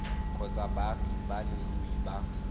kgotsa baagi ba leruri ba